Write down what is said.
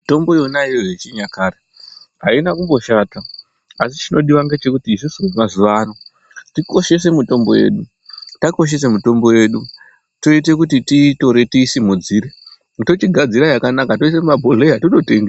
Mitombo yona iyoyo yechinyakare aina kumboshata asi chinodiwa ngechekuti isusu vemazuwa ano tikoshese mitombo yedu, takoshesa mitombo yedu toite kuti tiitore tiisimudzire tochigadzire yakanaka toiise mumabhodhlera tototengesa.